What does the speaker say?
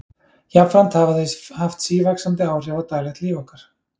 Jafnframt hafa þau haft sívaxandi áhrif á daglegt líf okkar.